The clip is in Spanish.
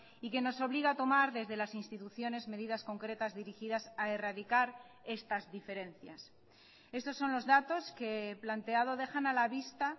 y que nos obliga a tomar desde las instituciones medidas concretas dirigidas a erradicar estas diferencias estos son los datos que he planteado dejan a la vista